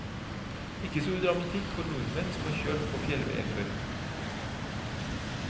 Ikke stor dramatikk for nordmenn som har kjørt på fjellveier før.